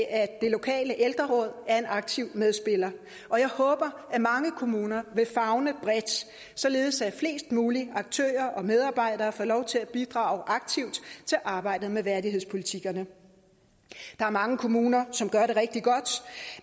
at det lokale ældreråd er en aktiv medspiller og jeg håber at mange kommuner vil favne bredt således at flest mulige aktører og medarbejdere får lov til at bidrage aktivt til arbejdet med værdighedspolitikkerne der er mange kommuner som gør det rigtig godt